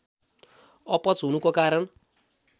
अपच हुनुको कारण